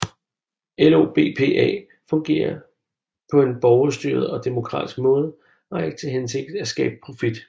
LOBPA fungerer på en borgerstyret og demokratisk måde og har ikke til hensigt at skabe profit